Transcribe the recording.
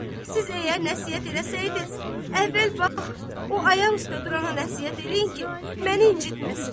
Siz əgər nəsihət eləsəydiniz, əvvəl bax o ayaq üstə durana nəsihət eləyin ki, məni incitməsin.